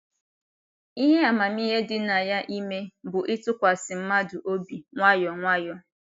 Ihe amamihe dị na ya ime bụ ịtụkwasị mmadụ obi nwayọ nwayọ